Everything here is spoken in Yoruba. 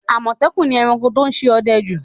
Àmọ̀tẹ́kùn ni ẹranko tó ń ṣe ọdẹ jù